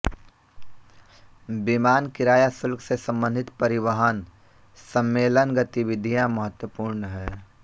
विमान किराया शुल्क से संबंधित परिवहन सम्मेलनगतिविधियाँ महत्वपूर्ण हैं